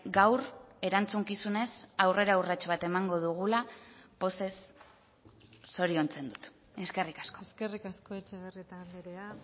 gaur erantzukizunez aurrera urrats bat emango dugula pozez zoriontzen dut eskerrik asko eskerrik asko etxebarrieta andrea